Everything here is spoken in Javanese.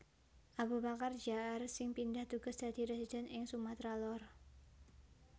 Abubakar Jaar sing pindah tugas dadi residen ing Sumatra Lor